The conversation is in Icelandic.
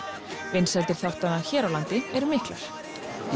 vinsældir þáttanna hér á landi eru miklar